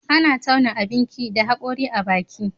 Ana tauna abinki da hagori a baki